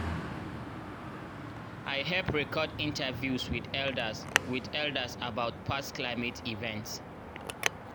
i help record interviews with eldaz with eldaz about past climate events